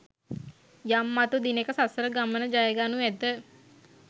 යම් මතු දිනෙක සසර ගමන ජයගනු ඇත